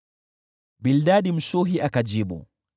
Bildadi Mshuhi akajibu: